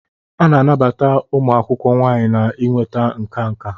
A na-anabata ụmụ akwụkwọ nwanyị na inweta nka nka.